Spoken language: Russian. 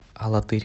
алатырь